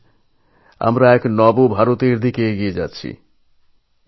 আজ আমরা এক নতুন ভারতের দিকে এগিয়ে যেতে চলেছি